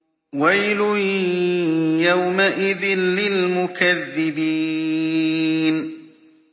وَيْلٌ يَوْمَئِذٍ لِّلْمُكَذِّبِينَ